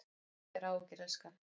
Hafðu engar áhyggjur elskan.